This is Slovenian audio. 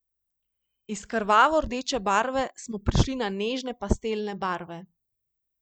Iz krvavo rdeče barve smo prišli na nežne pastelne barve.